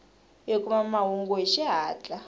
hi kuma mahungu hi xihatla